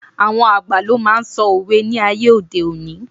Àwọn àgbà ló máa n sọ òwe ni aye ode oni